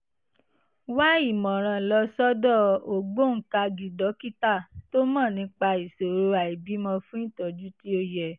wá ìmọ̀ràn lọ sọ́dọ̀ ògbóǹkangí dókítà tó mọ̀ nípa ìṣòro àìbímọ fún ìtọ́jú tí ó yẹ